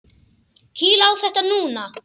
Kýla á þetta núna!